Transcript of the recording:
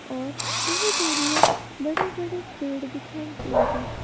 और दूर दूर में बड़े बड़े पेड़ दिखाई दे रहे--